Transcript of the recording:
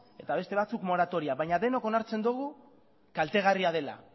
eta beste batzuk moratoria baina denok onartzen dugu kaltegarria dela